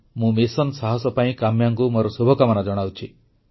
ମୁଁ ମିଶନ ସାହସ ପାଇଁ କାମ୍ୟାଙ୍କୁ ମୋର ଶୁଭକାମନା ଜଣାଉଛି